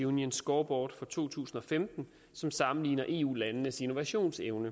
union scoreboard fra to tusind og femten som sammenligner eu landenes innovationsevne